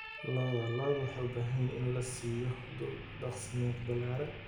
Lo'da lo'da waxay u baahan yihiin in la siiyo dhul daaqsimeed ballaaran.